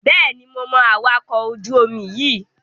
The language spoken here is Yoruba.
Bẹ́ẹ̀ni, mo mọ awakọ̀ ojú-omi yíì